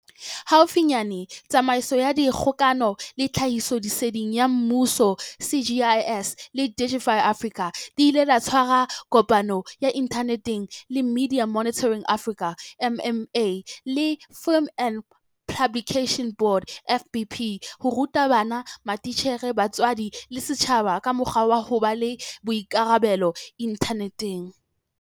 Haufinyane Tsamaiso ya Dikgokano le Tlhahisoleseding ya Mmuso, GCIS, le Digify Africa di ile tsa tshwara kopano ya inthaneteng le Media Monitoring Africa, MMA, le Film and Publication Board, FPB, ho ruta bana, matitjhere, batswadi le setjhaba ka mokgwa wa ho ba le boikarabelo inthaneteng.